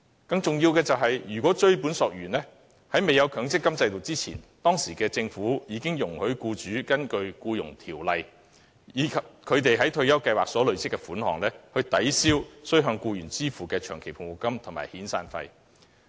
更重要的是，追本溯源，在未有強積金制度之前，當時的政府已容許僱主根據《僱傭條例》，以他們在退休計劃所累積的供款，抵銷須向僱員支付的長期服務金及遣散費。